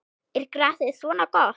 Er grasið svona gott?